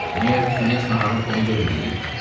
Meyor Knyaz naharın pulunu verməyib?